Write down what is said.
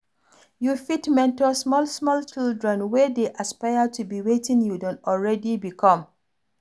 You fit mentor small small children wey dey aspire to be wetin you don already become